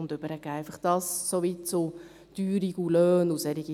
Soweit zum Thema Teuerung und Löhne.